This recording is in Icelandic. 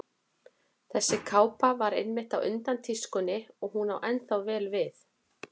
Þessi kápa var einmitt á undan tískunni og hún á ennþá vel við.